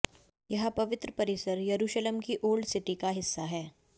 यह पवित्र परिसर यरुशलम की ओल्ड सिटी का हिस्सा है